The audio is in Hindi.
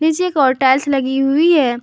पीछे कि ओर टाइल्स लगी हुई है।